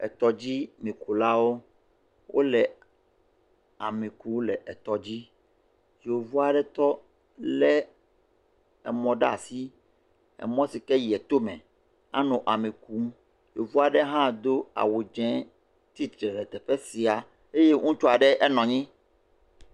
Etɔdzimikulawo wole ami kum le etɔ dzi. Yevu aɖe tɔ le emɔ ɖe asi. Emɔ si ke yia to me anɔ ami kum. Yevu aɖe hã do awu dze tsitre ɖe teƒe sia eye ŋutsu aɖe enɔ anyi.